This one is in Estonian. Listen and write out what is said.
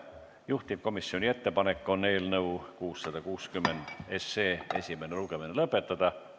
Juhtivkomisjoni ettepanek on eelnõu 660 esimene lugemine lõpetada.